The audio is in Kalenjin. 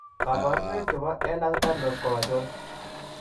Kabarunaik chebo Ehlers Danlos ko achon ?